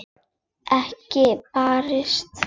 Ekki barist.